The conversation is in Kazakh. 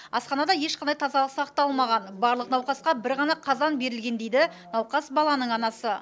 асханада ешқандай тазалық сақталмаған барлық науқасқа бір ғана қазан берілген дейді науқас баланың анасы